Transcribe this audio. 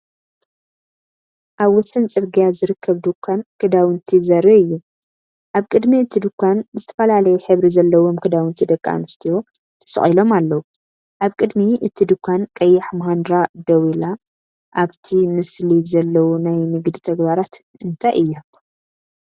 ኣብ ወሰን ጽርግያ ዝርከብ ድኳን ክዳውንቲ ዘርኢ እዩ። ኣብ ቅድሚ እቲ ድኳን ዝተፈላለየ ሕብሪ ዘለዎም ክዳውንቲ ደቂ ኣንስትዮ ተሰቂሎም ኣለዉ። ኣብ ቅድሚ እቲ ድኳን ቀያሕ ማሃንድራ ደው ኢላ። ኣብቲ ምስሊ ዘለዉ ናይ ንግዲ ተግባራት እንታይ እዮም?